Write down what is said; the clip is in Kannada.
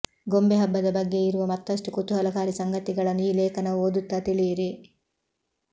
ಗೊಂಬೆ ಹಬ್ಬದ ಬಗ್ಗೆ ಇರುವ ಮತ್ತಷ್ಟು ಕುತೂಹಲಕಾರಿ ಸಂಗತಿಗಳನ್ನು ಈ ಲೇಖನವನ್ನು ಓದುತ್ತಾ ತಿಳಿಯಿರಿ